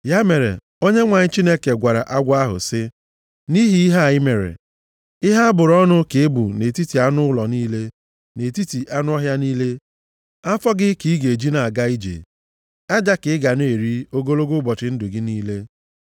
Ya mere, Onyenwe anyị Chineke gwara agwọ ahụ sị, “Nʼihi ihe a i mere, “Ihe a bụrụ ọnụ ka ị bụ nʼetiti anụ ụlọ niile na nʼetiti anụ ọhịa niile. Afọ gị ka ị ga-eji na-aga ije, aja ka ị ga na-eri ogologo ụbọchị ndụ gị niile.